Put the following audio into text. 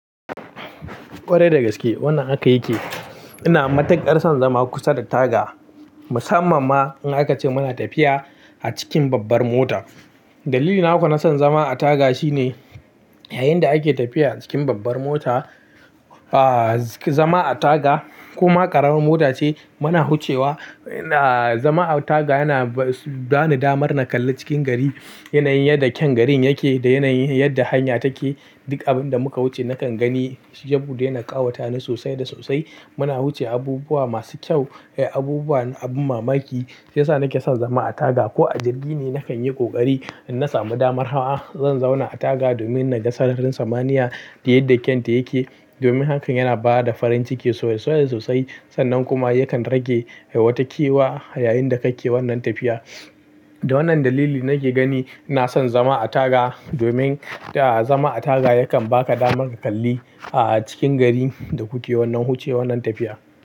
Ƙwarai da gaske wannan aka yi ke. Ina matuƙar son zama kusa da taga musamman ma in aka ce muna tafiya a cikin babbar mota. Dalili naku na son zama a taga shine yayinda ake tafiya cikin babbar mota, ah zama a taga kuma ƙaramin mota ce muna hucewa, ah zama a taga yana ba ni damar na kalli cikin gari yanayin yadda kyan garin yake da yanayin yadda hanya take. Duk abin da muka wuce nakan gani, ya buɗe na ƙawata ni sosai da sosai. Muna wuce abubuwa masu kyau, abubuwa abin mamaki sai sa nake son zama a taga ko a jirgi ne na kan yi ƙoƙari in na samu damar hawa, zan zauna a taga domin na ga sararin samaniya da yadda kyanta yake. Domin hakan yana ba da farin ciki sosai sosai sannan kuma yakan rage watakewa yayinda kake wannan tafiya. Da wannan dalili nake gani na son zama a taga domin ah zama a taga yakan ba ka damar ka kalli ah cikin gari da kuke wannan huce wannan tafiya.